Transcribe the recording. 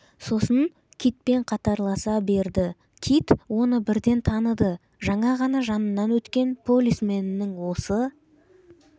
сосын китпен қатарласа берді кит оны бірден таныды жаңа ғана жанынан өткен полисменің осы